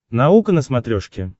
наука на смотрешке